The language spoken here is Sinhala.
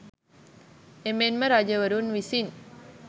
එමෙන්ම රජවරුන් විසින්